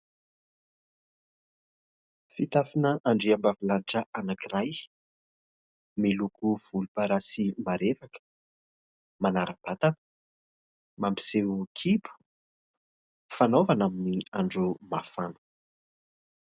Fitafina andriambavilanitra anankiray, miloko volomparasy marevaka, manara-batana, mampiseho kibo, fanaovana amin'ny andro mafana.